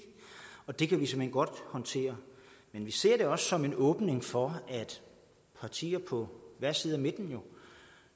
det kan vi såmænd godt håndtere men vi ser det også som en åbning for at partier på hver side af midten